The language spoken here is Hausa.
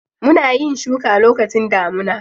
Muna yin shuka lokacin damuna.